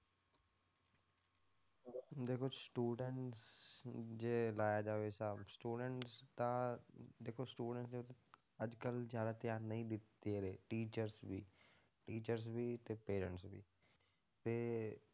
ਦੇਖੋ students ਜੇ ਲਾਇਆ ਜਾਵੇ ਹਿਸਾਬ students ਤਾਂ ਦੇਖੋ students ਤੇ ਅੱਜ ਕੱਲ੍ਹ ਜ਼ਿਆਦਾ ਧਿਆਨ ਨਹੀਂ ਦੇ ~ਦੇ ਰਹੇ teachers ਵੀ teachers ਵੀ ਤੇ parents ਵੀ ਤੇ